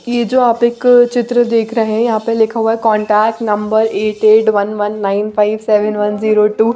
ये जो आप एक चित्र देख रहे है यहाँ पे लिखा हुआ है contact number eight eight one one nine five five one zero two --